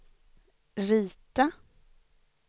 rita